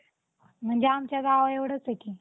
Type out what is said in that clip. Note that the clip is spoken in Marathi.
म्हणजे आमच्या गावा एवढचं आहे की